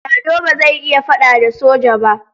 Lado ba zai iya faɗa da soja ba.